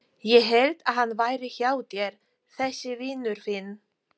Ég hélt að hann væri hjá þér þessi vinur þinn.